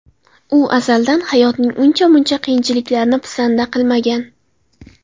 U azaldan hayotning uncha-muncha qiyinchiliklarini pisanda qilmagan.